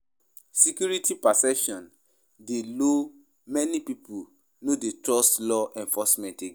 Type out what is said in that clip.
Police brutality dey provoke protest; pipo dey demand for justice and change.